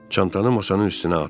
Çantanı masanın üstünə atdı.